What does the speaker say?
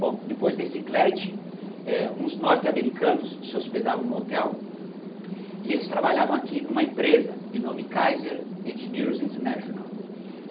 Bom, depois desse Cleridge, eh, uns norte-americanos se hospedavam no hotel e eles trabalhavam aqui em uma empresa de nome Kaise Engineers International.